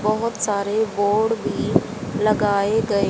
बहुत सारे बोर्ड भी लगाए गए--